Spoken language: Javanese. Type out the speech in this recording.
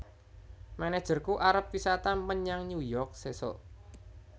Manajerku arep wisata menyang New York sesok